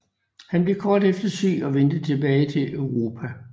Han blev kort efter syg og vendte tilbage til Europa